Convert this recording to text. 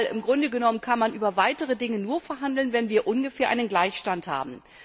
Im Grunde genommen kann man über weitere Dinge nur verhandeln, wenn wir ungefähr einen Gleichstand haben.